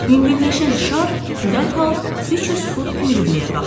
Yüngülləşən şar dərhal 300 fut hündürlüyə qalxdı.